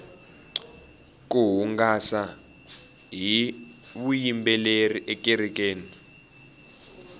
ku hungasa hi vuyimbeleri ekerekeni